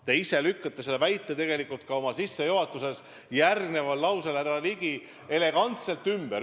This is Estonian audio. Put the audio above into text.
Te ise lükkasite selle väite oma sissejuhatuses, härra Ligi, elegantselt ümber.